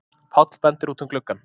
Páll bendir út um gluggann.